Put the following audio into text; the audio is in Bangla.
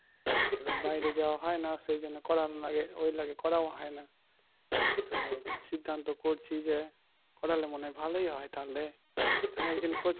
এবার বাইরে যাওয়া হয়না সেই জন্য করান লাগে ওই লাগে করাও হয়না তো সিদ্ধান্ত করছি যে করালে মনে হয় ভালোই হয় তাহলে তাহলে একদিন খোঁজ